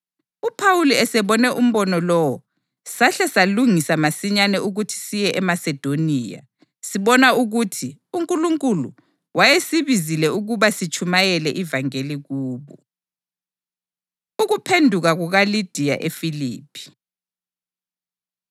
UPhawuli esebone umbono lowo, sahle salungisa masinyane ukuthi siye eMasedoniya, sibona ukuthi uNkulunkulu wayesibizile ukuba sitshumayele ivangeli kubo. Ukuphenduka KukaLidiya EFiliphi